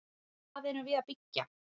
Hvað erum við að byggja?